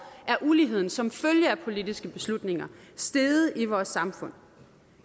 er uligheden som følge af politiske beslutninger steget i vores samfund